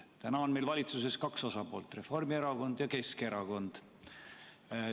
Praegu on valitsuses kaks osapoolt: Reformierakond ja Keskerakond.